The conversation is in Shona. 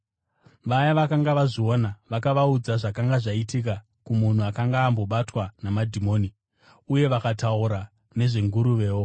Vaya vakanga vazviona vakavaudza zvakanga zvaitika kumunhu akanga ambobatwa namadhimoni, uye vakataura nezvenguruvewo.